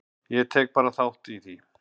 Ég tek bara þátt í því.